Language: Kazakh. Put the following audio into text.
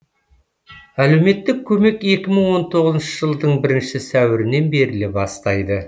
әлеуметтік көмек екі мың он тоғызыншы жылдың бірінші сәуірінен беріле бастайды